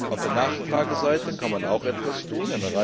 Auf der Nachfrageseite kann man auch etwas tun.